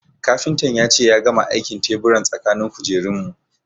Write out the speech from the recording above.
Kafintan ya ce ya gama aikin teburan tsakanin kujerun mu